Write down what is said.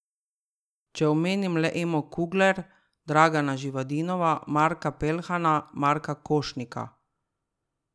Če omenim le Emo Kugler, Dragana Živadinova, Marka Peljhana, Marka Košnika ...